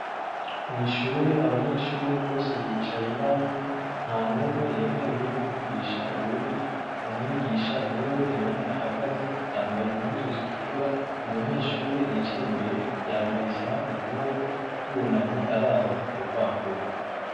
Mwishure, abanyeshure bose bicaye banumye, nta n'umwe yemerewe kuvugisha uwundi. Umwigisha ni we wenyene ahagaze yambaye impuzu zitukura. Umunyeshure yicaye imbere yambaye isaha ku kuboko, yunamye araba kurupapuro.